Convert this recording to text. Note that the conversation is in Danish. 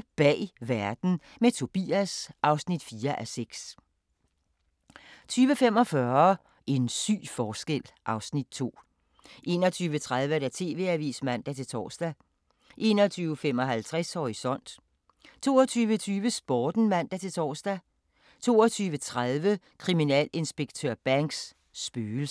20:00: Bag verden – med Tobias (4:6) 20:45: En syg forskel (Afs. 2) 21:30: TV-avisen (man-tor) 21:55: Horisont 22:20: Sporten (man-tor) 22:30: Kriminalinspektør Banks: Spøgelser